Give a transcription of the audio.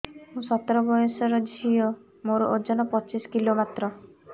ମୁଁ ସତର ବୟସର ଝିଅ ମୋର ଓଜନ ପଚିଶି କିଲୋ ମାତ୍ର